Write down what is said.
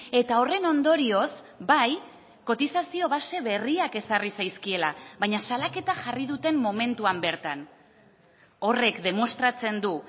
eta horren ondorioz bai kotizazio base berriak ezarri zaizkiela baina salaketa jarri duten momentuan bertan horrek demostratzen du